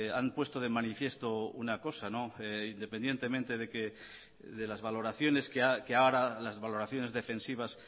han puesto de manifiesto una cosa independientemente de las valoraciones defensivas